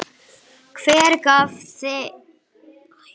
Hver gaf leyfi fyrir þessu?